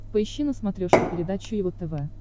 поищи на смотрешке передачу его тв